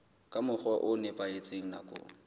ka mokgwa o nepahetseng nakong